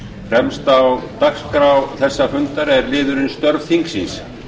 fremst á dagskrá þessa fundar er liðurinn störf þingsins